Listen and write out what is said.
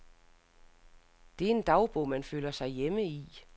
Det er en dagbog, man føler sig hjemme i.